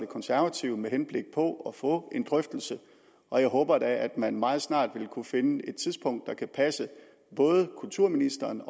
konservative med henblik på at få en drøftelse og jeg håber da at man meget snart vil kunne finde et tidspunkt der kan passe både kulturministeren